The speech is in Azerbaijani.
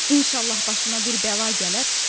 İnşallah başına bir bəla gələr.